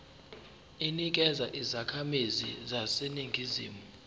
inikezwa izakhamizi zaseningizimu